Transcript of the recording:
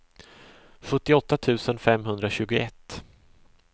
sjuttioåtta tusen femhundratjugoett